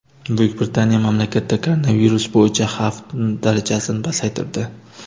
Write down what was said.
Buyuk Britaniya mamlakatda koronavirus bo‘yicha xavf darajasini pasaytirdi.